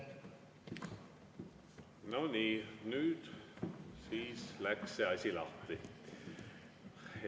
No nii, nüüd siis läks see asi lahti.